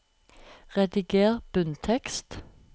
Rediger bunntekst